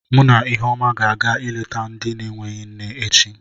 Mụ na Iheọma ga-aga ịlete ndị na-enweghị nne echi.